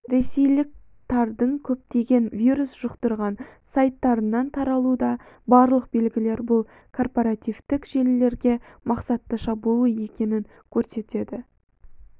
ресейлік тардың көптеген вирус жұқтырған сайттарынан таралуда барлық белгілер бұл корпоративтік желілерге мақсатты шабуыл екенін көрсетеді